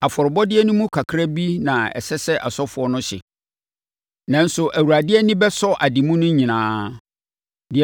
Afɔrebɔdeɛ no mu kakra bi na ɛsɛ sɛ asɔfoɔ no hye, nanso Awurade ani bɛsɔ ade mu no nyinaa.